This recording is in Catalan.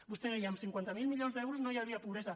vostè deia amb cinquanta miler milions d’euros no hi hauria pobresa